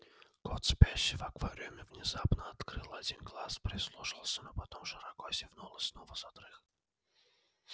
кот спящий в аквариуме внезапно открыл один глаз прислушался но потом широко зевнул и снова задрых